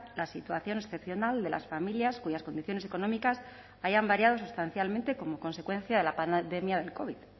la situación excepcional de las familias cuyas condiciones económicas hayan variado sustancialmente como consecuencia de la pandemia del covid